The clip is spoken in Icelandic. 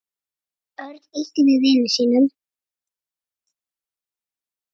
Örn ýtti við vini sínum.